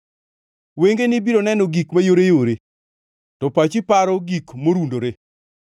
Wengeni biro neno gik mayoreyore to pachi paro gik morundore.